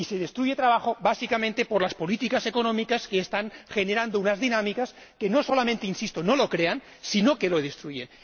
Y se destruye trabajo, básicamente, por las políticas económicas, que están generando unas dinámicas que no solamente ―insisto― no lo crean, sino que lo destruyen.